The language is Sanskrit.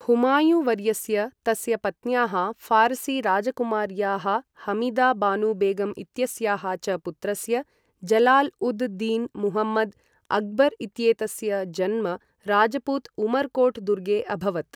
हुमायुँवर्यस्य, तस्य पत्न्याः फ़ारसी राजकुमार्याःहमीदा बानु बेगम् इत्यस्याः च पुत्रस्य, जलाल उद् दीन् मुहम्मद्, अकबर् इत्येतस्य जन्म राजपूत उमरकोट् दुर्गे अभवत्।